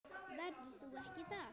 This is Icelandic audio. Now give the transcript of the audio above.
Verður þú ekki þar?